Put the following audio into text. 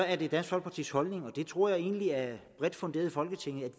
er det dansk folkepartis holdning og det tror jeg egentlig er bredt funderet i folketinget at